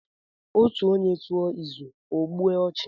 Otu onye tuo izu, o gbue ochu